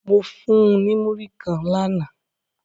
Mo fun un ni muri kan làná